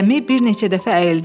Gəmi bir neçə dəfə əyildi.